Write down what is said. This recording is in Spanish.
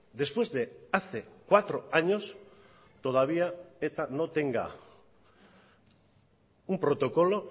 después de hace cuatro años todavía eta no tenga un protocolo